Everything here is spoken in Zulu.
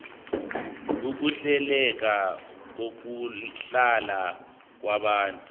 ukuhleleka kokuhlala kwabantu